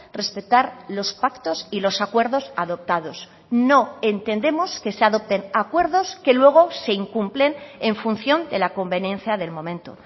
respetar los pactos y los acuerdos adoptados no entendemos que se adopten acuerdos que luego se incumplen en función de la conveniencia del momento